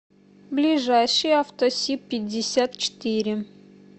ближайший авто сиб пятьдесят четыре